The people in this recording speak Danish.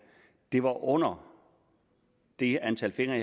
det under det antal fingre